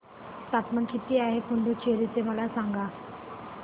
तापमान किती आहे पुडुचेरी चे मला सांगा